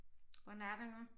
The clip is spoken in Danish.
Hvordan er det nu